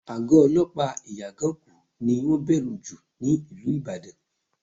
Àgọ́ olọ́pàá Ìyágànkú ni wọ́n bẹ̀rù jù ní ìlú Ìbàdàn